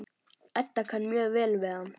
Edda kann mjög vel við hann.